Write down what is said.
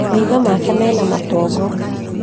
Maitho make mena matongo